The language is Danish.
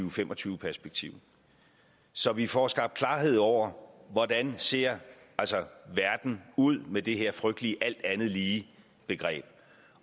og fem og tyve perspektiv så vi får skabt klarhed over hvordan ser ud med det her frygtelige alt andet lige begreb